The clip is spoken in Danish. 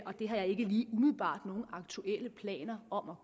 og det har jeg ikke lige umiddelbart nogen aktuelle planer om at